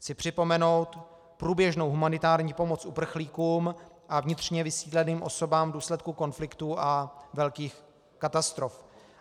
Chci připomenout průběžnou humanitární pomoc uprchlíkům a vnitřně vysídleným osobám v důsledku konfliktů a velkých katastrof.